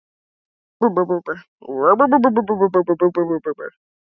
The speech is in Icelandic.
Nú heyrði hún ekki betur en að hann hringdi.